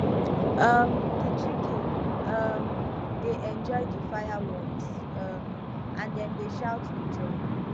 um di children um dey enjoy di fireworks um and dem dey shout with joy